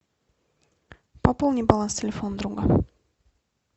пополни баланс телефона друга